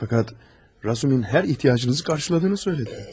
Fəqət Razumin hər ehtiyacınızı qarşıladığını söylədin.